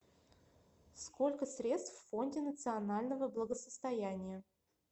сколько средств в фонде национального благосостояния